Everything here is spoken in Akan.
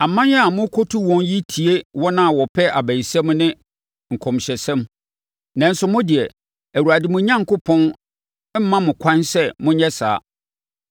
Aman a morekɔtu wɔn yi tie wɔn a wɔpɛ abayisɛm ne nkɔmhyɛsɛm. Nanso mo deɛ, Awurade, mo Onyankopɔn, mma mo kwan sɛ monyɛ saa.